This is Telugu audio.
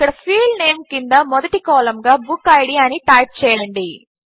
ఇక్కడ ఫీల్డ్ నేమ్ క్రింద మొదటి కాలం గా బుక్కిడ్ అని టైప్ చేయండి